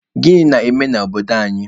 Gịnị na-eme n'ama obodo anyị?